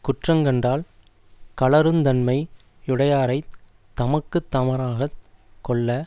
குற்றங் கண்டால் கழறுந் தன்மை யுடையாரைத் தமக்கு தமராகக் கொள்ள